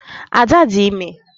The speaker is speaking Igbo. Ada dị ime